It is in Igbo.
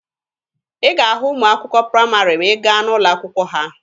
Ị ga-ahụ ụmụ akwụkwọ praịmarị ma ị gaa n'ụlọ akwụkwọ ha.